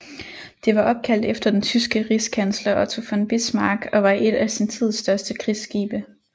Det var opkaldt efter den tyske rigskansler Otto von Bismarck og var et af sin tids største krigsskibe